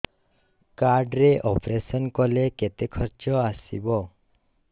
card ରେ operation କଲେ କେତେ ଖର୍ଚ ଆସିବ